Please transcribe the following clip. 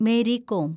Mary com